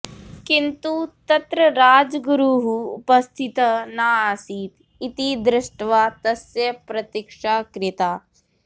किन्तु तत्र राजगुरुः उपस्थितः नासीत् इति दृष्ट्वा तस्य प्रतीक्षा कृता